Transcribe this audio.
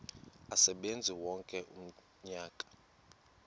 asebenze wonke umnyaka